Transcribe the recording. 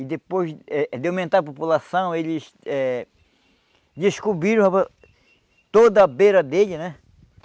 E depois eh de aumentar a população, eles eh descobriram a toda a beira dele, né?